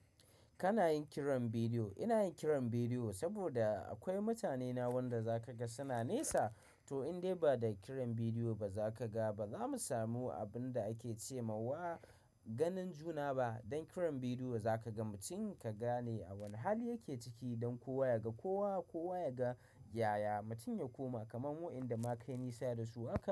Kana yin kiran bidiyo. Ina yin kiran bidiyo saboda akwai mutanena wanda za ka ga suna nesa. To indai ba da kiran bidiyo ba za ka ga ba, zamu samu abun da ake ce ma wa ganin juna ba. Dan kiran bidiyo za ka ga mutum ka gane a wane hali yake ciki don kowa ya ga kowa, kowa ya ga yaya mutum ya koma, kamar waɗanda na kai nisa da su.